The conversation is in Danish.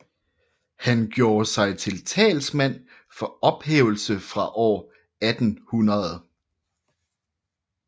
Han gjorde sig til talsmand for ophævelse fra år 1800